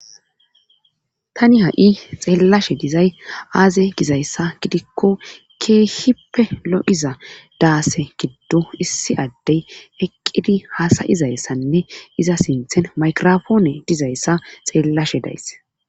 Tani ha7i xeellashe dizay aaze gizayssa gidikko keehippe lo7iza daase giddo issi addey eqqidi haasayizayssanne iza sinthen makirofoone dizayssa xeellashe days